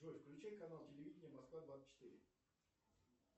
джой включи канал телевидения москва двадцать четыре